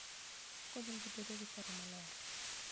Okonyo ji bedo gi paro maler.